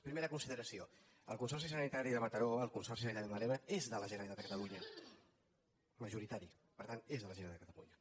primera consideració el consorci sanitari de mataró el consorci sanitari del maresme és de la generalitat de catalunya majoritari per tant és de la generalitat de catalunya